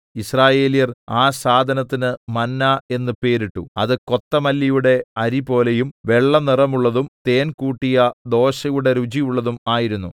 യിസ്രായേല്യർ ആ സാധനത്തിന് മന്നാ എന്ന് പേരിട്ടു അത് കൊത്തമല്ലിയുടെ അരിപോലെയും വെള്ളനിറമുള്ളതും തേൻകൂട്ടിയ ദോശയുടെ രുചിയുള്ളതും ആയിരുന്നു